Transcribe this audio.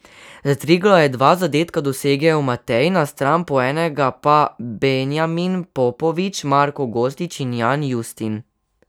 Za Triglav je dva zadetka dosegel Matej Nastran po enega pa Benjamin Popovič, Marko Gostič in Jan Justin.